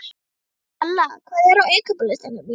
Kalla, hvað er á innkaupalistanum mínum?